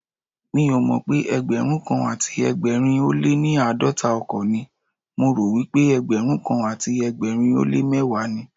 Mi ò mọ̀pé Ẹgbẹ̀rúnkan àti ẹgbẹ̀rin ó léní àádọ́ta ọkọ̀ ni, mo ròwípé ẹgbẹrunkan àti ẹgbẹ̀rin ó lé mẹ́wàá ni.